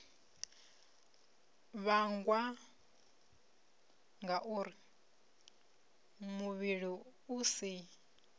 vhangwa ngauri muvhili u si